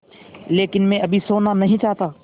लेकिन मैं अभी सोना नहीं चाहता